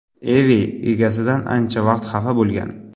Evi egasidan ancha vaqt xafa bo‘lgan.